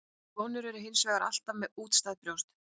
Konur eru hins vegar alltaf með útstæð brjóst.